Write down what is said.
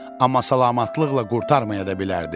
Amma salamatlıqla qurtarmaya da bilərdi.